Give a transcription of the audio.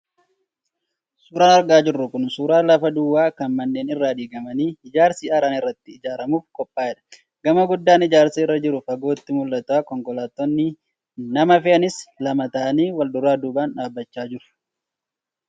Suuraan argaa jirru kun suuraa lafa duwwaa kan manneen irraa diigamanii ijaarsi haaraan irratti ijaaramuuf qophaa'edha. Gamoon guddaan ijaarsa irra jirus fagootti mul'ata. Konkolaattonni nama fe'anis lama ta'anii wal-duraa duubaan dhaabachaa jiru.